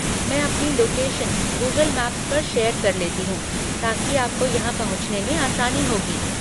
मैं अपनी location Google maps पर शेयर कर लेती हूँ ताकि आपको यहाँ पहुँचने में आसानी होगी।